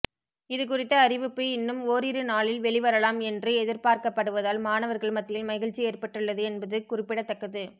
இதுகுறித்த அறிவிப்பு இன்னும் ஓரிரு நாளில் வெளிவரலாம் என்று எதிர்பார்க்கப்படுவதால் மாணவர்கள் மத்தியில் மகிழ்ச்சி ஏற்பட்டுள்ளது என்பது குறிப்பிடத்தக்கது